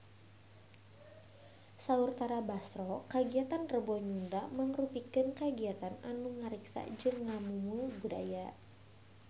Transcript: Saur Tara Basro kagiatan Rebo Nyunda mangrupikeun kagiatan anu ngariksa jeung ngamumule budaya Sunda